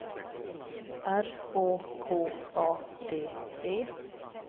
R Å K A D E